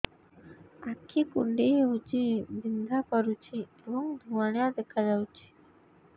ଆଖି କୁଂଡେଇ ହେଉଛି ବିଂଧା କରୁଛି ଏବଂ ଧୁଁଆଳିଆ ଦେଖାଯାଉଛି